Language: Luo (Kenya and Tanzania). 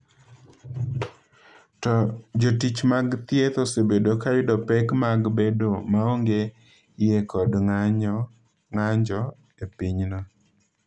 To jotich mag thieth osebedo ka yudo pek mag bedo maonge yie kod ng’anjo e pinyno.